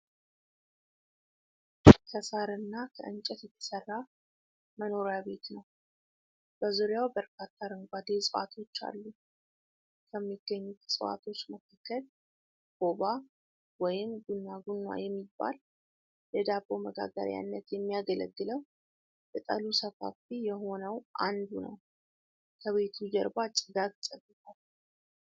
ከሳር እና ከእንጨት የተሰራ መኖሪያ ቤት ነው ። በዙሪያው በርካታ አረንጓዴ ዕጽዋቶች አሉ ። ከሚገኙት ዕፅዋቶች መካከል ኮባ ወይም ጉናጉና የሚባል ለዳቦ መጋገሪያነት የሚያገለግለው ቅጠሉ ሰፋፊ የሆነው አንዱ ነው ። ከቤቱ ጀርባ ጭጋግ ጨግጓል።